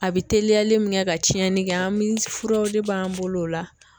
A bɛ teliyali min kɛ ka tiɲɛni kɛ an bɛ furaw de b'an bolo o la.